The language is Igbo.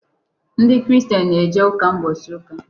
Ndị Christian na-eje ụka ụbọchị ụka.